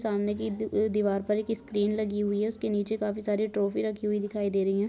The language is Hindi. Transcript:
सामने के दीवार पर एक स्क्रीन लगी हुई है उसके नीचे काफी सारी ट्रॉफी राखी हुई दिखाई दे रही है।